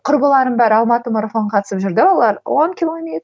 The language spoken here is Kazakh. құрбыларым бәрі алматы марафон қатысып жүрді олар он